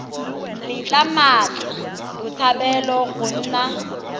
letla mmatla botshabelo go nna